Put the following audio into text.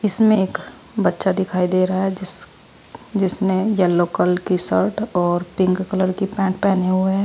इसमें एक बच्चा दिखाई दे रहा है जिस जिसने येलो कलर की शर्ट और पिंक कलर की पैन्ट पहने हुए है।